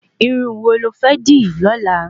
Irun wò lo fẹ́ dì lọ́la?